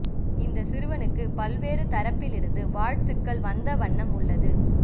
இந்த சிறுவனுக்கும் பல்வேறு தரப்பில் இருந்து வாழ்த்துக்கள் வந்த வண்ணம் உள்ளது